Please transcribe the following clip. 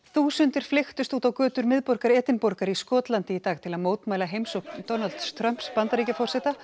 þúsundir flykktust út á götur miðborgar Edinborgar í Skotlandi í dag til að mótmæla heimsókn Donalds Trumps Bandaríkjaforseta